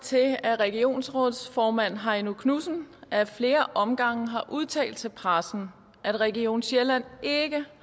til at regionsrådsformand heino knudsen ad flere omgange har udtalt til pressen at region sjælland ikke